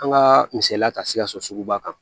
An ka misaliya ta sikasoba kan